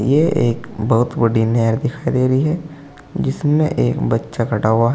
ये एक बहोत बड़ी नहर दिखाई दे रही है जिसमें एक बच्चा खड़ा हुआ है।